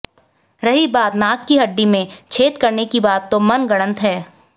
रही बात नाक की हड्डी में छेद करने की बात तो वह मनगढ़ंत है